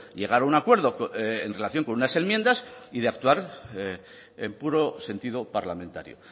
llegar a un acuerdo en relación con unas enmiendas y de actuar en puro sentido parlamentario